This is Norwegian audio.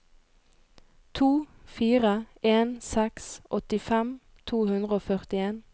to fire en seks åttifem to hundre og førtien